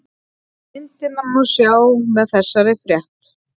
Myndina má sjá með þessari frétt